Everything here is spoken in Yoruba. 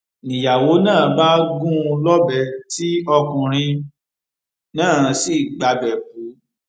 niyàwó náà bá gún un lọbẹ tí ọkùnrin náà sì gbabẹ kú